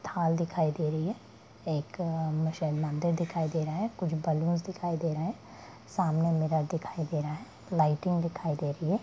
थाल दिखाई दे रही है एक म-शायद मंदिर दिखाई दे रहे हैं कुछ बलून्स दिखाई दे रहे हैं सामने मिरर दिखाई दे रहे हैं लालटेन लाइटिंग दिखाई दे रही है।